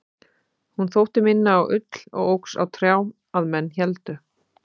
hún þótti minna á ull og óx á trjám að menn héldu